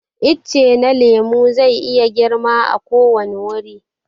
Itace na lemu zai iya girma a ko wani wuri.